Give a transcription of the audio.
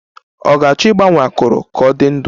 Ọ ga-achọ ịgbanye akụrụ ka ọ dị ndụ